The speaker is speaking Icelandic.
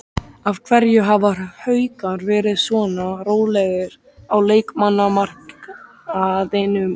Af hverju hafa Haukar verið svona rólegir á leikmannamarkaðinum?